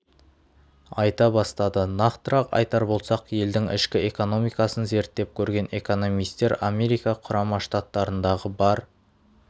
айта бастады нақтырақ айтар болсақ елдің ішкі экономикасын зерттеп көрген экономистер америка құрама штаттарындағы бар